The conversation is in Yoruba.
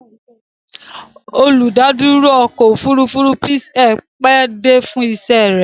Olùdádúró ọkọ̀-òfurufú Peace Air pẹ́ dé fún iṣẹ́ rẹ̀.